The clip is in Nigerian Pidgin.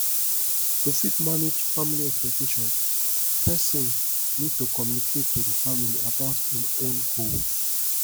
to fit manage family expectations person need to communicate to di family about im own goals